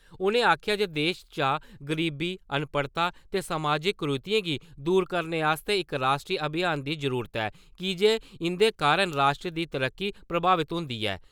उ'नें आखेआ जे देश चा गरीबी, अनपढ़ता समाजक कुरीतियें गी दूर करने आस्तै इक राश्ट्री अभियान दी जरुरत ऐ, की जे इंदे कारण राश्ट्र दी तरक्की प्रभावत होंदी ऐ।